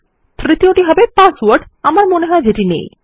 তৃতীয়টি হলো পাসওয়ার্ড যেটি আমার মনেহয় নেই